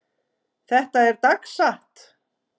Þetta er dagsatt.